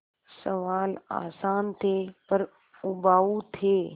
सवाल आसान थे पर उबाऊ थे